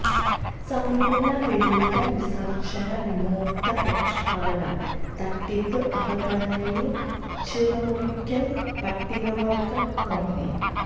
സമ്പൂര്ണ്ണ വെളിയിട വിസര്ജ്ജന വിമുക്ത പ്രഖ്യാപനം തട്ടിപ്പ് അവഗണനയില് ചിറമുറിക്കല് പട്ടികവര്ഗ്ഗ കോളനി